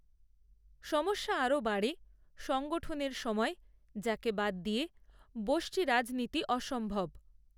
সমস্যা আরও বাড়ে, সংগঠনএর সময়, যাকে বাদ দিয়ে ব্যষ্টি রাজনীতি অসম্ভব